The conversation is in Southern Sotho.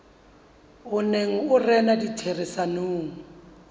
o neng o rena ditherisanong